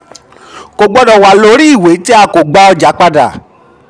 kò gbọdọ wà lórí iwe tí a ko gba ọja padà.